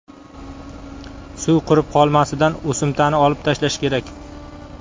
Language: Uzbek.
Suv qurib qolmasidan o‘simtani olib tashlash kerak.